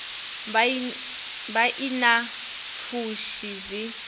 vha i na pfushi dzi